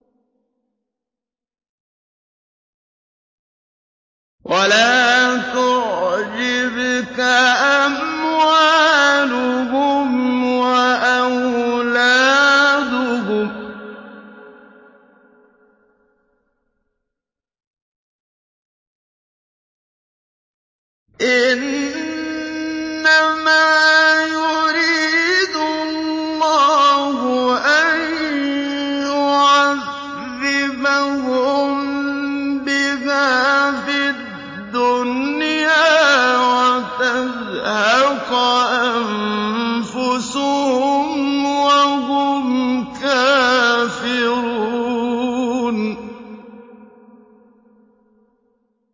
وَلَا تُعْجِبْكَ أَمْوَالُهُمْ وَأَوْلَادُهُمْ ۚ إِنَّمَا يُرِيدُ اللَّهُ أَن يُعَذِّبَهُم بِهَا فِي الدُّنْيَا وَتَزْهَقَ أَنفُسُهُمْ وَهُمْ كَافِرُونَ